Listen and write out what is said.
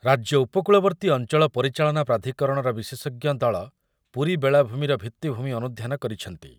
ରାଜ୍ୟ ଉପକୂଳବର୍ତ୍ତୀ ଅଞ୍ଚଳ ପରିଚାଳନା ପ୍ରାଧିକରଣର ବିଶେଷଜ୍ଞ ଦଳ ପୁରୀ ବେଳାଭୂମିର ଭିତ୍ତିଭୂମି ଅନୁଧ୍ୟାନ କରିଛନ୍ତି।